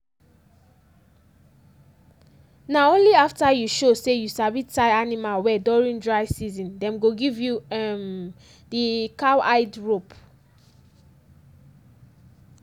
na only after you show say you sabi tie animal well during dry season dem go give you um di cowhide rope.